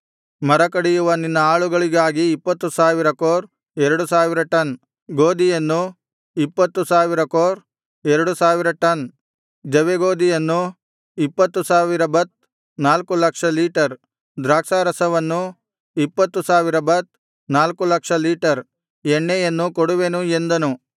ಮರ ಕಡಿಯುವ ನಿನ್ನ ಆಳುಗಳಿಗಾಗಿ ಇಪ್ಪತ್ತು ಸಾವಿರ ಕೋರ್ ಎರಡು ಸಾವಿರ ಟನ್ ಗೋದಿಯನ್ನೂ ಇಪ್ಪತ್ತು ಸಾವಿರ ಕೋರ್ ಎರಡು ಸಾವಿರ ಟನ್ ಜವೆಗೋದಿಯನ್ನೂ ಇಪ್ಪತ್ತು ಸಾವಿರ ಬತ್ ನಾಲ್ಕು ಲಕ್ಷ ಲೀಟರ್ ದ್ರಾಕ್ಷಾರಸವನ್ನೂ ಇಪ್ಪತ್ತು ಸಾವಿರ ಬತ್ ನಾಲ್ಕು ಲಕ್ಷ ಲೀಟರ್ ಎಣ್ಣೆಯನ್ನೂ ಕೊಡುವೆನು ಎಂದನು